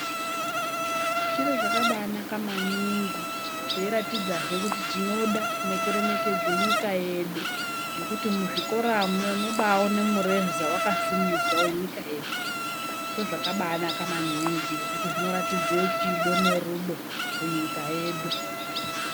Chiro chakabanaka maningi cheiratidzahe kuti tinoda nekuremekedze nyika yedu ngekuti muzvikoramwo unobawona mureza wakasimudzwa wenyika yedu ndozvakabanaka maningi ngekuti zvinoratidze chido nerudo kunyika yedu .